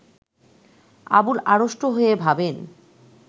আবুল আড়ষ্ট হয়ে ভাবেন